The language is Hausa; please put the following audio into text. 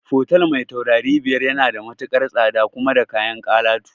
Fotel mai taurari biyar yana da matukar tsada kuma da kayan alatu